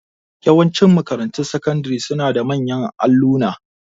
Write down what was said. Yawanci makarantun sakandari suna da manyan alluna.